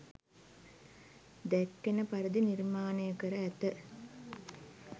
දැක්වෙන පරිදි නිර්මාණය කර ඇත.